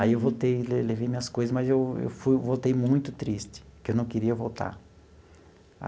Aí eu voltei e le levei minhas coisas, mas eu eu fui voltei muito triste, porque eu não queria voltar.